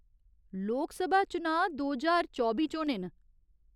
लोकसभा चुनांऽ दो ज्हार चौबी च होने न।